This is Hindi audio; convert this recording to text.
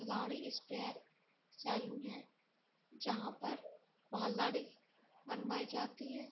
सेलून है जहा पर बनवाइ जाती है।